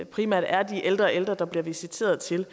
primært er de ældre ældre der bliver visiteret til